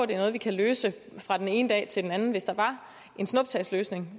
det er noget vi kan løse fra den ene dag til den anden hvis der var en snuptagsløsning